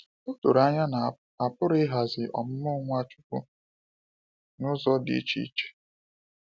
O doro anya na a pụrụ ịghazi ọmụmụ Nwachukwu n’ụzọ dị iche iche.